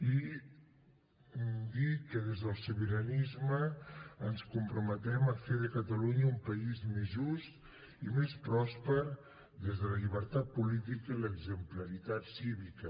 i dir que des del sobiranisme ens comprometem a fer de catalunya un país més just i més pròsper des de la llibertat política i l’exemplaritat cívica